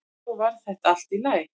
Svo varð þetta allt í lagi.